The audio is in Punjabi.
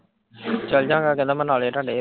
ਚੱਲਜਾਗਾ ਕਹਿੰਦਾ ਮੈਂ ਨਾਲੇ ਹੀ ਤਾਡੇ।